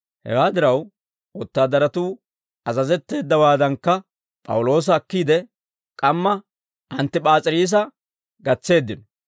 Hewaa diraw, wotaadaratuu azazetteeddawaadankka P'awuloosa akkiide, k'amma Anttip'aas'iriisa gatseeddino.